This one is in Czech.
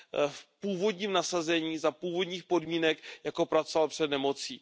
v původním nasazení za původních podmínek, jako pracoval před nemocí.